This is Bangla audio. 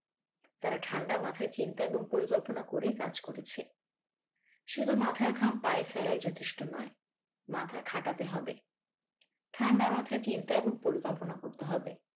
তারা ঠান্ডা মাথায় চিন্তা এবং পরিকল্পনা করেই কাজ করেছে শুধু মাথার ঘাম পায়ে ফেলাই যথেষ্ট নয় মাথা খাটাতে হবে ঠান্ডা মাথায় চিন্তা এবং পরিকল্পনা করতে হবে।